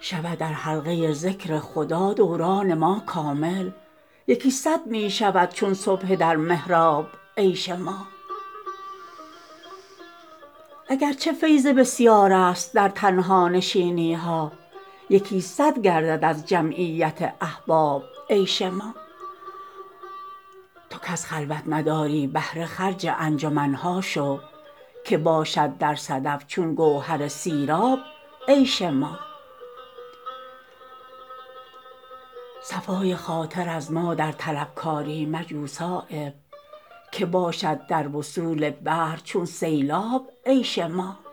شود در حلقه ذکر خدا دوران ما کامل یکی صد می شود چون سبحه در محراب عیش ما اگر چه فیض بسیارست در تنهانشینی ها یکی صد گردد از جمعیت احباب عیش ما تو کز خلوت نداری بهره خرج انجمن ها شو که باشد در صدف چون گوهر سیراب عیش ما صفای خاطر از ما در طلبکاری مجو صایب که باشد در وصول بحر چون سیلاب عیش ما